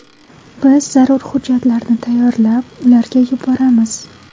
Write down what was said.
Biz zarur hujjatlarni tayyorlab, ularga yuboramiz.